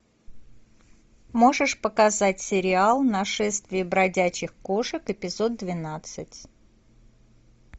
можешь показать сериал нашествие бродячих кошек эпизод двенадцать